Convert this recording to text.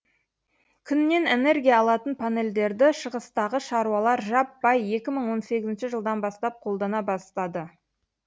күннен энергия алатын панельдерді шығыстағы шаруалар жаппай екі мың он сегізінші жылдан бастап қолдана бастады